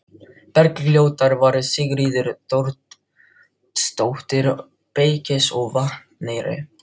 Bergljótar var Sigríður Þóroddsdóttir, beykis á Vatneyri.